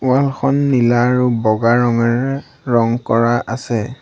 Wall খন নীলা আৰু বগা ৰঙেৰে ৰং কৰা আছে।